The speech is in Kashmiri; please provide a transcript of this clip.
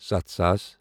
ستھ ساس